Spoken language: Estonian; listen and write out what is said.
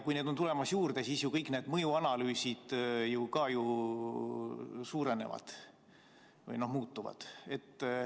Kui neid on juurde tulemas, siis kõik need mõjuanalüüsid ju ka muutuvad.